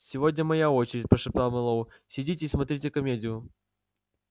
сегодня моя очередь прошептал мэллоу сидите и смотрите комедию